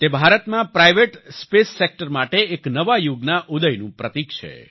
તે ભારતમાં private space sector માટે એક નવા યુગના ઉદયનું પ્રતિક છે